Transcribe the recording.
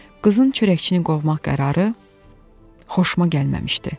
Qızın çörəkçini qovmaq qərarı xoşuma gəlməmişdi.